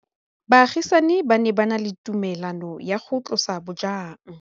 Baagisani ba ne ba na le tumalanô ya go tlosa bojang.